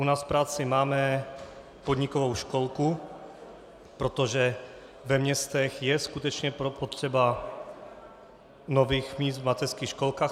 U nás v práci máme podnikovou školku, protože ve městech je skutečně potřeba nových míst v mateřských školkách.